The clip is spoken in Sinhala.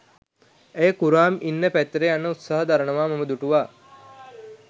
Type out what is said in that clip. ඇය කුරාම් ඉන්න පැත්තට යන්න උත්සාහ දරනවා මම දුටුවා.